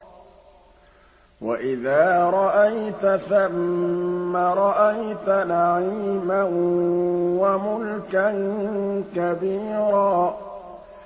وَإِذَا رَأَيْتَ ثَمَّ رَأَيْتَ نَعِيمًا وَمُلْكًا كَبِيرًا